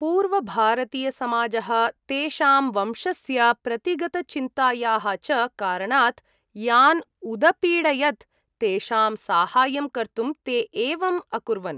पूर्वभारतीयसमाजः तेषां वंशस्य, प्रतिगतचिन्तायाः च कारणात् यान् उदपीडयत्, तेषां साहाय्यं कर्तुं ते एवम् अकुर्वन्।